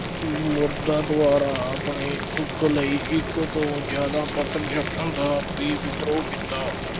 ਮਰਦਾਂ ਦੁਆਰਾ ਆਪਣੇ ਸੁੱਖ ਲਈ ਇੱਕ ਤੋਂ ਜ਼ਿਆਦਾ ਪਤਨੀ ਰੱਖਣ ਦਾ ਵੀ ਵਿਦਰੋਹ ਕੀਤਾ।